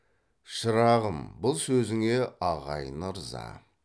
шырағым бұл сөзіңе ағайын ырза